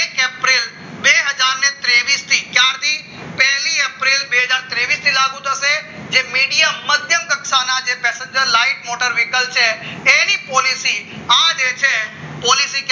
પહેલી એપ્રિલ બે હજાર તેવીસ થી લાગુ લાગુ થશે જે મીડિયમ મધ્યકક્ષાના passenger લાઈન મોટર vehicle છે તેની પોલીસીસ આજે છે પોલિસિસ